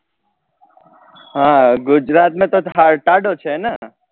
હા ગુજરાત ને તો ટાઢો છે ને